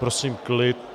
Prosím klid.